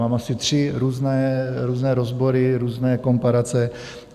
Mám asi tři různé rozbory, různé komparace.